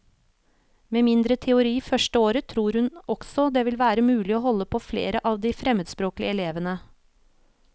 Med mindre teori første år tror hun også det vil være mulig å holde på flere av de fremmedspråklige elevene.